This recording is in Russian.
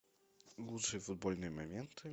лучшие футбольные моменты